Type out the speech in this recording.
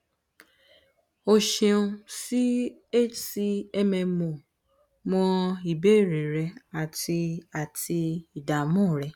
o ṣeun si hcmmo mọ ìbéèrè rẹ ati ati ìdààmú rẹ